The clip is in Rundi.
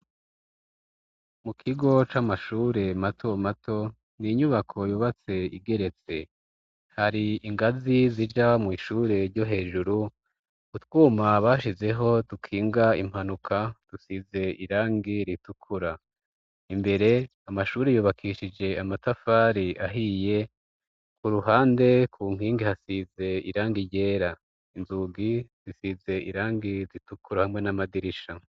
Mu kigo c'amashure mato mato ,n' inyubako yubatse igeretse, hari ingazi zija mw'ishure ryo hejuru ,utwuma bashizeho dukinga impanuka dusize irangi ritukura ,imbere amashuri yubakishije amatafari ahiye, ku ruhande ku nkingi hasize irangi ryera inzugi zisize irangi ritukura hamwe n'amadirisha